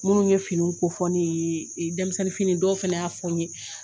Minnu ye finiw ko fɔ ne yee e denmisɛnnin fini dɔw fɛnɛ y'a fɔ n ye